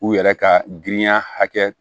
U yɛrɛ ka girinya hakɛ